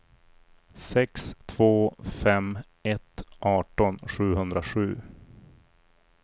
sex två fem ett arton sjuhundrasju